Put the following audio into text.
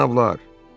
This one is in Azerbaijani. Cənablar!